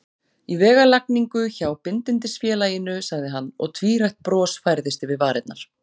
Í vegalagningu hjá Bindindisfélaginu, sagði hann, og tvírætt bros færðist yfir varirnar.